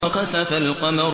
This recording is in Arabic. وَخَسَفَ الْقَمَرُ